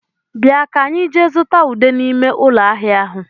Bịa ka enyi jee zụta ude n'ime ụlọ ahịa ahụ